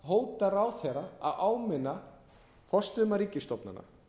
hótar ráðherra að áminna forstöðumann ríkisstofnana